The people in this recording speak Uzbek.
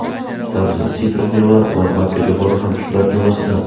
Sabzi, sitrus mevalar va makkajo‘xori ham shular jumlasidan.